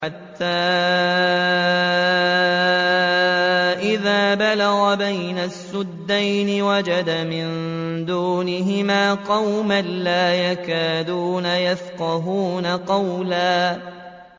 حَتَّىٰ إِذَا بَلَغَ بَيْنَ السَّدَّيْنِ وَجَدَ مِن دُونِهِمَا قَوْمًا لَّا يَكَادُونَ يَفْقَهُونَ قَوْلًا